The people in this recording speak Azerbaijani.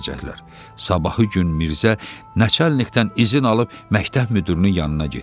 Sabahı gün Mirzə naçalnikdən izin alıb məktəb müdürünün yanına getdi.